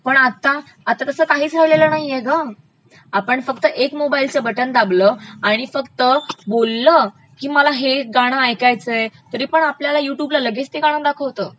पण आता तस काहि राहिलेलं नाहये गं.,आपण फक्त एक मोबाइल फोनच बटन दाबलं आणि फक्त बोललं की मला हे गाणं ऐकायचयं तरी पण आपल्याला युट्यूबला लगेच ते गाणं दाखवतं.